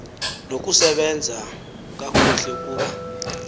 nokusebenza kakuhle ukuba